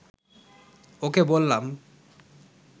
ওকে বললাম